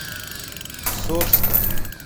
сорска